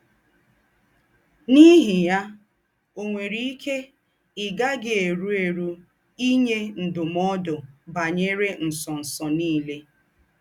N’íhí yà, ò nwérè íkè í gá-àghì érù érù ínyè ndúm̀ọ̀dù bányerè ńsọ̀nsọ̀ nìlè.